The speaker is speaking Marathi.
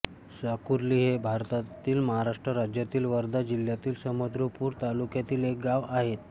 साकुर्ली हे भारतातील महाराष्ट्र राज्यातील वर्धा जिल्ह्यातील समुद्रपूर तालुक्यातील एक गाव आहे